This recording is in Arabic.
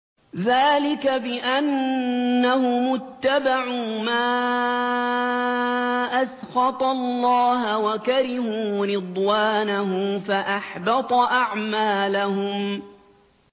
ذَٰلِكَ بِأَنَّهُمُ اتَّبَعُوا مَا أَسْخَطَ اللَّهَ وَكَرِهُوا رِضْوَانَهُ فَأَحْبَطَ أَعْمَالَهُمْ